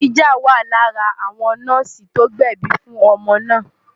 Adijah wà lára àwọn nọ́ọ̀sì tó gbẹ̀bi fún ọmọ náà.